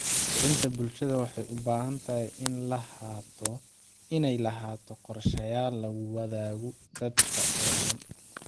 Kicinta bulshada waxay u baahan tahay inay lahaato qorshayaal lagu wadaago dadka oo dhan.